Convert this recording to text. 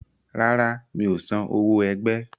Rárá, mi ò san owó ẹgbẹ́.